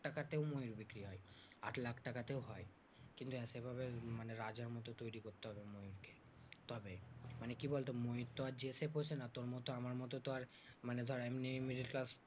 টাকা তেও ময়ূর বিক্রি হয়। আট লাখ টাকাতেও হয়। কিন্তু একেবারে রাজার মতো তৈরী করতে হবে ময়ূরকে। মানে কি বলতো ময়ূর আর যে সে পোষে না তোর মতো আমার মতো তো আর মানে ধর এমনি এমনি তো আর